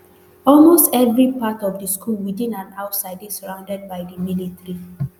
almost evri part of di school within and outside dey surrounded by di military